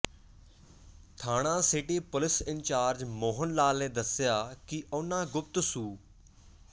ਥਾਣਾ city police incharge Mohan Lal ਨੇ ਦੱਸਿਆ ਕਿ ਉਨ੍ਹਾਂ ਗੁਪਤ ਸੂ